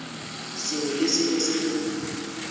sengwe le sengwe se re